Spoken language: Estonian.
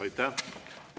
Aitäh!